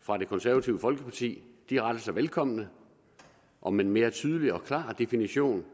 fra det konservative folkeparti de rettelser velkommen om en mere tydelig og klar definition